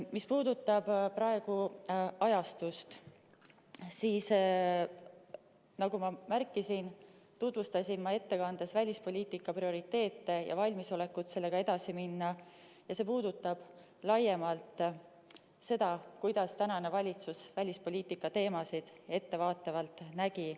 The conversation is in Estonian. Mis puudutab ajastust, siis ma tutvustasin ettekandes välispoliitika prioriteete ja valmisolekut sellega edasi minna ja see puudutab laiemalt seda, kuidas tänane valitsus välispoliitika teemasid ettevaatavalt nägi.